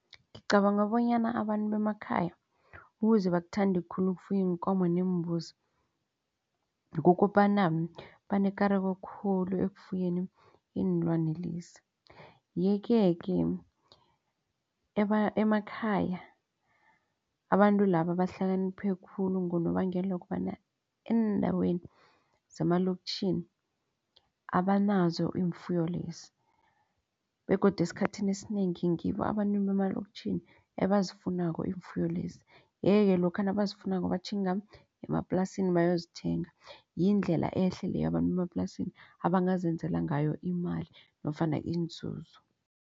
Ngicabanga bonyana abantu bemakhaya ukuze bakuthande khulu ukufuya iinkomo neembuzi. Kukobana banekareko khulu ekufuyeni iinlwani lezi. Yeke-ke emakhaya abantu laba bahlakaniphe khulu ngonobangela wokobana eendaweni zemaloktjhini abanazo iimfuyo lezi begodu esikhathini esinengi ngibo abantu emaloktjhini ebazifunako iimfuyo lezi. Yeke-ke lokha nabazifunako batjhinga emaplasini bayozithenga. Yindlela ehle leyo abantu emaplasini abazenzela ngayo imali nofana inzuzo.